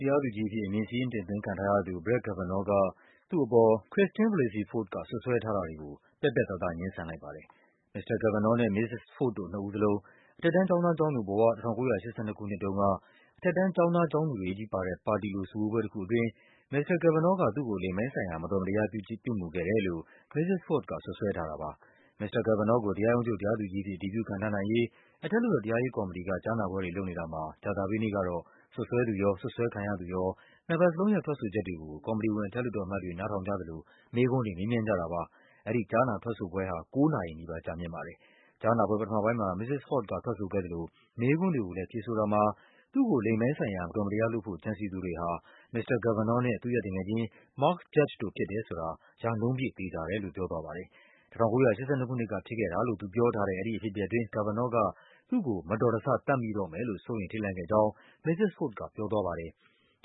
တရားသူကြီးအဖြစ် အမည်စာရင်းတင်သွင်းခံထားရသူ Brett Kavanaugh က သူ့အပေါ် Christine Blasey Ford က စွပ်စွဲထားတာတွေကို ပြတ်ပြတ်သားသား ငြင်းဆန်လိုက်ပါတယ်။ မစ္စတာ Kavanaugh နဲ့ မစ္စစ် Ford တို့နှစ်ဦးလုံး အထက် တန်းကျောင်းသားကျောင်းသူဘဝ ၁၉၈၂ ခုနှစ်တုန်းက အထက်တန်းကျောင်းသား ကျောင်းသူတွေချည်းပါတဲ့ ပါတီလို စုဝေးပွဲ တခုအတွင်း မစ္စတာ Kavanaugh က သူ့ကို လိင်ပိုင်းဆိုင်ရာ မတော်မတရားပြုမူခဲ့တယ်လို့ မစ္စစ် Ford က စွပ်စွဲထားတာပါ။ မစ္စတာ Kavanaugh ကို တရားရုံးချုပ် တရားသူကြီးအဖြစ် အတည်ပြုခန့်ထားနိုင်ရေး အထက်လွှတ်တော် တရားရေးကော်မတီက ကြားနာပွဲတွေလုပ်နေတာမှာ ကြာသပတေးနေ့ကတော့ စွပ်စွဲသူရော၊ စွပ်စွဲခံရသူရော နှစ်ဘက်လုံးရဲ့ ထွက်ဆိုချက်တွေကို ကော်မတီဝင် အထက်လွှတ်တော်အမတ်တွေ နားထောင်ကြသလို မေးခွန်းတွေ မေးမြန်းကြတာပါ။ အဲဒီကြားနာထွက်ဆိုပွဲဟာ ၉ နာရီနီးပါး ကြာမြင့်ပါတယ်။ ကြားနာပွဲ ပထမပိုင်းမှာ မစ္စစ် Ford က ထွက်ဆိုခဲ့သလို မေးခွန်းတွေကိုလည်း ဖြေဆိုတာမှာ သူ့ကို လိင်ပိုင်းဆိုင်ရာ မတော် မတရားလုပ်ဖို့ ကြံစည်သူတွေဟာ မစ္စတာ Kavanaugh နဲ့ သူ့ရဲ့သူငယ်ချင်း Mark Judge တို့ဖြစ်တယ်ဆိုတာ ရာနှုန်းပြည့် သေချာတယ်လို့ ပြောသွားပါတယ်။ ၁၉၈၂ ခုနှစ်ကဖြစ်ခဲ့တာလို့ သူပြောထားတဲ့ အဲဒီ အဖြစ်အပျက်အတွင်း Kavanaugh က သူ့ကို “မတော်တဆ သတ်မိတော့မယ်” လို့ စိုးရိမ်ထိတ်လန့်ခဲ့ကြောင်း မစ္စစ် Ford က ပြောသွားပါတယ်။